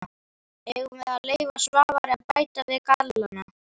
Eigum við að leyfa Svavari að bæta við gallana?